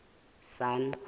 sun